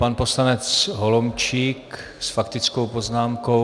Pan poslanec Holomčík s faktickou poznámkou.